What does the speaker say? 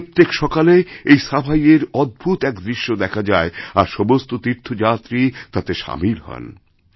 প্রত্যেক সকালেএই সাফাইয়ের অদ্ভুত এক দৃশ্য দেখা যায় আর সমস্ত তীর্থযাত্রী তাতে সামিল হন